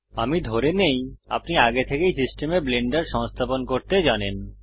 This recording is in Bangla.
আমি ধরে নেই আপনি আগে থেকেই সিস্টেমে ব্লেন্ডার সংস্থাপন করতে জানেন